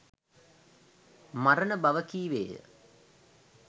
මරණ බව කීවේය.